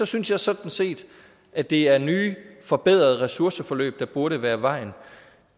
synes jeg sådan set at det er nye forbedrede ressourceforløb der burde være vejen